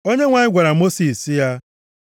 Onyenwe anyị gwara Mosis sị ya,